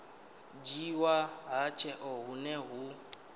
dzhiiwa ha tsheo hune hu